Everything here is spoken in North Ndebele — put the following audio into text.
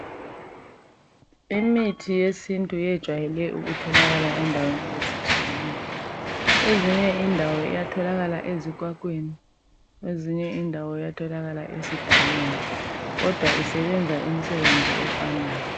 Imithi yesintu yejwayele ukutholakala endaweni ezitshiyeneyo ezinye indawo yatholakala ezikwakweni , ezinye indawo esidakeni kodwa isebenza okufanayo .